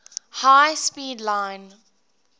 high speed line